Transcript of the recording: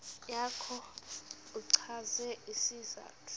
yakho uchaze isizathu